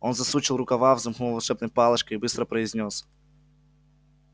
он засучил рукава взмахнул волшебной палочкой и быстро произнёс